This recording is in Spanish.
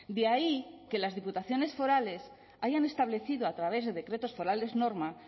de ahí que las diputaciones forales hayan establecido a través de decretos forales norma